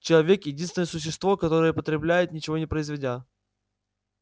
человек единственное существо которое потребляет ничего не производя